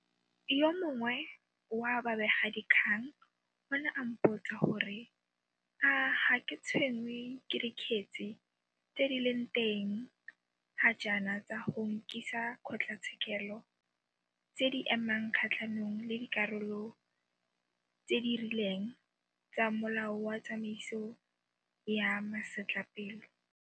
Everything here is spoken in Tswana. Yo mongwe wa babegadikgang o ne a mpotsa gore a ga ke tshwenngwe ke dikgetse tse di leng teng ga jaana tsa go nkisakgotlatshekelo tse di emang kgatlhanong le dikarolo tse di rileng tsa Molao wa Tsamaiso ya Masetlapelo.